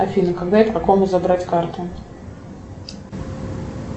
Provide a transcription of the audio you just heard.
афина когда и по какому забрать карту